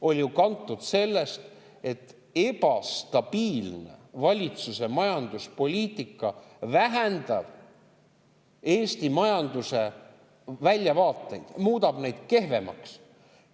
– oli ju kantud sellest, et ebastabiilne valitsuse majanduspoliitika vähendab Eesti majanduse väljavaateid, muudab need kehvemaks.